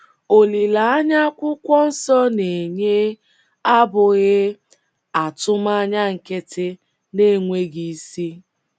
Olileanya akwụkwọ nsọ na - enye abụghị atụmanya nkịtị na - enweghị isi.